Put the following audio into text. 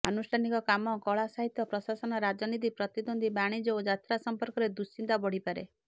ଆନୁଷ୍ଠାନିକ କାମ କଳା ସାହିତ୍ୟ ପ୍ରଶାସନ ରାଜନୀତି ପ୍ରତିଦ୍ୱନ୍ଦ୍ୱୀ ବାଣିଜ୍ୟ ଓ ଯାତ୍ରା ସମ୍ପର୍କରେ ଦୁଶିନ୍ତା ବଢ଼ିପାରେ